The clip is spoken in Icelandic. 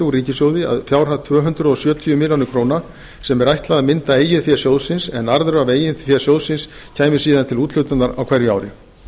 úr ríkissjóði að fjárhæð tvö hundruð sjötíu milljónum króna sem ætlað er að mynda eigið fé sjóðsins en arður af eigin fé sjóðsins kæmi til úthlutunar á hverju ári